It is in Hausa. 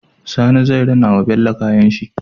Sani zai rina wa bello kayan shi